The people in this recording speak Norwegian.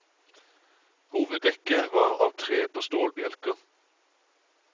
Hoveddekket var av tre på stålbjelker.